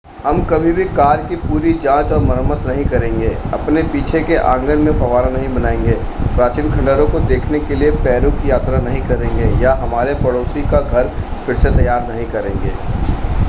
हम कभी भी कार की पूरी जांच और मरम्मत नहीं करेंगे अपने पीछे के आंगन में फव्वारा नहीं बनाएंगे प्राचीन खंडहरों को देखने के लिए पेरू की यात्रा नहीं करेंगे या हमारे पड़ोसी का घर फिर से तैयार नहीं करेंगे